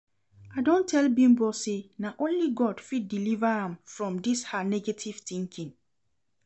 I don tell Bimbo say na only God fit deliver am from dis her negative thinking